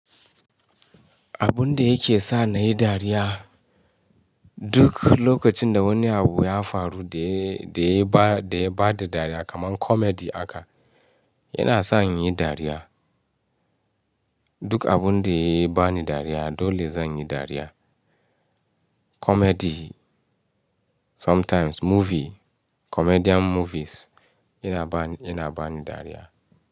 Abun da yake sa na yi dariya, duk lokacin da wani abu ya faru da ya ba da dariya kamar comedy aka, yana sa in yi dariya. Duk abun da ya ba ni dariya dole zan yi dariya. Comedy, sometimes movie, comedian movies yana ba ni dariya.